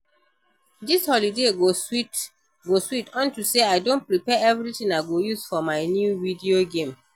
Dis holiday go sweet unto say I don prepare everything I go use for my new video game